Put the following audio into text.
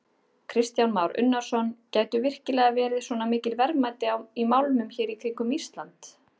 Kristján Már Unnarsson: Gætu virkilega verið svona mikil verðmæti í málmum hér í kringum Ísland?